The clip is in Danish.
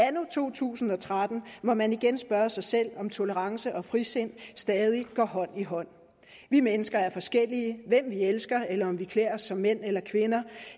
anno to tusind og tretten må man igen spørge sig selv om tolerance og frisind stadig går hånd i hånd vi mennesker er forskellige hvem vi elsker eller om vi klæder os som mænd eller kvinder